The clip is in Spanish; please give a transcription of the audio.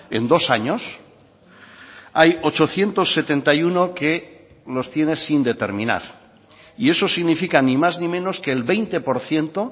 en dos años hay ochocientos setenta y uno que los tiene sin determinar y eso significa ni más ni menos que el veinte por ciento